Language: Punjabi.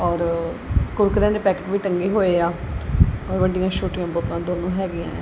ਔਰ ਕੁਰਕੁਰੇ ਵਾਲੇ ਪੈਕੇਟ ਵੀ ਟੰਗੇ ਹੋਏ ਆ ਹੋਰ ਹੈਗੇ ਐਂ।